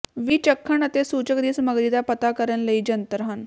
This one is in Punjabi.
ਵੀ ਚਖਣ ਅਤੇ ਸੂਚਕ ਦੀ ਸਮੱਗਰੀ ਦਾ ਪਤਾ ਕਰਨ ਲਈ ਜੰਤਰ ਹਨ